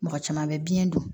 Mɔgɔ caman bɛ biyɛn don